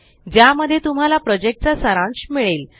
ज्या मध्ये तुम्हाला प्रोजेक्ट चा सारांश मिळेल